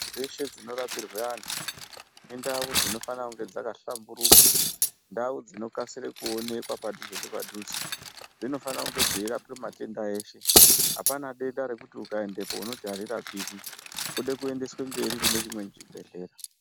Dzeshe dzinorapirwe antu indau dzinofana kunge dzakahlamburuka, ndau dzinokasire kuonekwa padhuze nepadhuze. Dzinofanira kunge dzeirapwe matenda eshe, apana denda rekuti ukaendapo unoti arirapiki, kude kuendeswe mberi kune chimwe chibhedhlera.